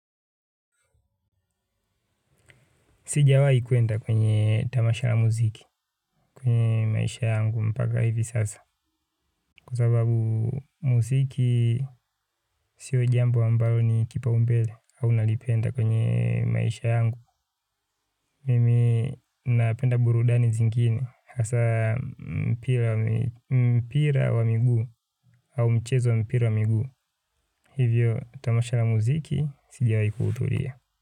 Sijawahi kwenda kwenye tamasha la muziki kwenye maisha yangu mpaka hivi sasa. Kwa sababu muziki sio jambo ambalo ni kipaumbele au nalipenda kwenye maisha yangu. Mimi napenda burudani zingine hasa mpira wa miguu au michezo ya mipira ya miguu. Hivyo tamasha la muziki sijawahi kuhudhuria.